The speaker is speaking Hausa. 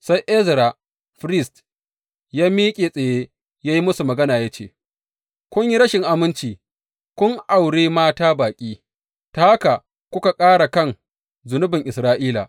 Sai Ezra firist ya miƙe tsaye ya yi musu magana ya ce, Kun yi rashin aminci; kun aure mata baƙi, ta haka kuka ƙara kan zunubin Isra’ila.